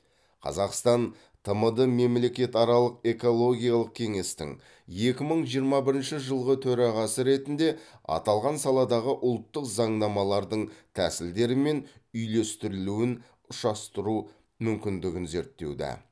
қазақстан тмд мемлекетаралық экологиялық кеңестің екі мың жиырма бірінші жылғы төрағасы ретінде аталған саладағы ұлттық заңнамалардың тәсілдері мен үйлестірілуін ұшастыру мүмкіндігін зерттеуді